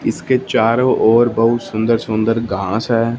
इसके चारों ओर बहुत सुंदर सुंदर घास है।